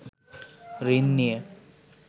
ঋণ নিয়ে